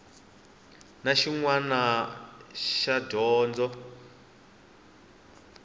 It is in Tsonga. na xin wana xa dyondzo